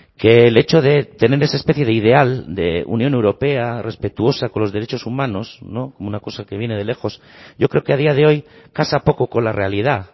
que el hecho de tener esa especie de ideal de unión europea respetuosa con los derechos humanos como una cosa que viene de lejos yo creo que a día de hoy casa poco con la realidad